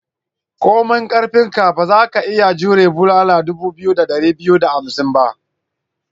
Komai karfinka, ba za ka iya jmure bulala dubu biyu da dari biyu da arba'in ba.